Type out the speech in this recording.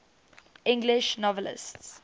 english novelists